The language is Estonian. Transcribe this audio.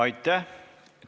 Aitäh!